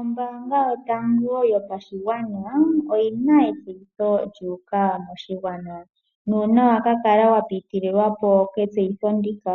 Ombaanga yotango yopashigwana oyi na etseyitho lya uka moshigwana, nuuna wa ka kala wapitililwa po ke tseyitho ndika,